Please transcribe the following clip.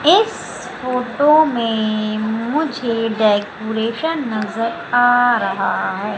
इस फोटो में मुझे डेकुरेशन नजर आ रहा है।